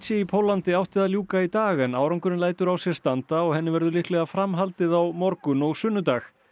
í Póllandi átti að ljúka í dag en árangurinn lætur á sér standa og henni verður líklega framhaldið á morgun og sunnudag